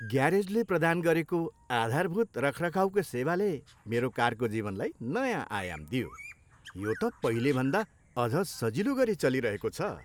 ग्यारेजले प्रदान गरेको आधारभूत रखरखाउको सेवाले मेरो कारको जीवनलाई नयाँ आयाम दियो, यो त पहिलेभन्दा अझ सजिलो गरी चलिरहेको छ।